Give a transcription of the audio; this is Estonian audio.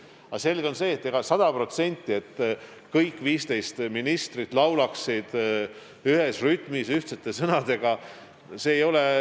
Aga selge on see, et ei ole ju mõeldav, et kõik 15 ministrit laulaksid sada protsenti ühes rütmis, ühtsete sõnadega.